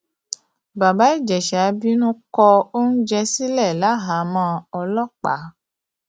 bàbá ìjẹsà bínú kó oúnjẹ sílẹ láhàámọ ọlọpàá